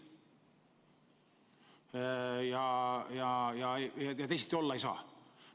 Teisiti olla ei tohi.